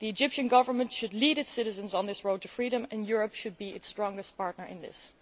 The Egyptian Government should lead its citizens on this road to freedom, and Europe should be its strongest partner in this.